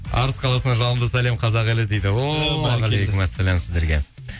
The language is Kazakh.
арыс қаласынан жалынды сәлем казақ елі дейді уағалейкумассалам сіздерге